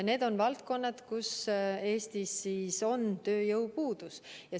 Need on valdkonnad, kus Eestis on tööjõupuudus.